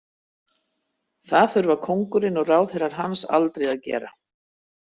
Það þurfa kóngurinn og ráðherrar hans aldrei að gera.